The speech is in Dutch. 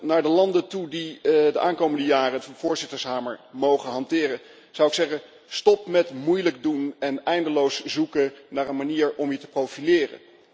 Naar de landen toe die de aankomende jaren de voorzittershamer mogen hanteren, zou ik zeggen stop met moeilijk doen en eindeloos zoeken naar een manier om je te profileren.